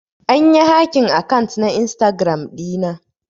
An yi hacking akant na Instagram dina.